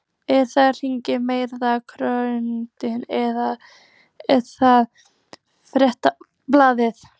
Er það hin marktæka könnun eða er það Fréttablaðið?